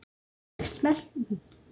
Annars er en notað.